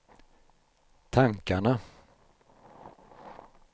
tankarna